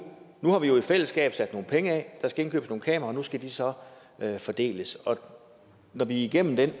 har vi jo i fællesskab sat nogle penge af der skal indkøbes nogle kameraer og de skal så fordeles når vi er igennem det